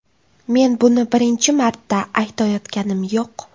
Men buni birinchi marta aytayotganim yo‘q.